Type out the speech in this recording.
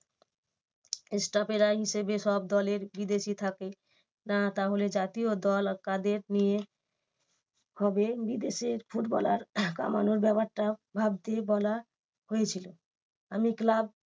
Staff এরা হিসেবে সব দলের বিদেশি থাকে তাহলে জাতীয় দল কাদের নিয়ে হবে বিদেশের ফুটবলার কমানোর ব্যাপারটা ভাবতে বলা হয়েছিল। আমি club